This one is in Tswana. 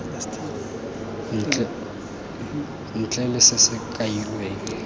ntle le se se kailweng